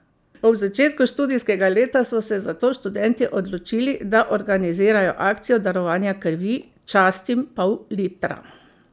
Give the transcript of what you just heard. Ob začetku študijskega leta so se zato študentje odločili, da organizirajo akcijo darovanja krvi Častim pol litra!